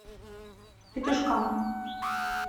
петушкам